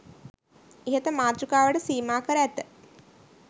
ඉහත මාතෘකාවට සීමා කර ඇත